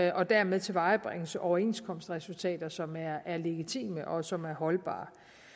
og dermed tilvejebringes overenskomstresultater som er legitime og som er holdbare